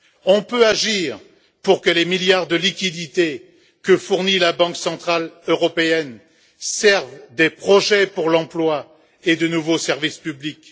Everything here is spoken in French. On peut agir pour que les milliards de liquidités que fournit la Banque centrale européenne servent des projets pour l'emploi et de nouveaux services publics.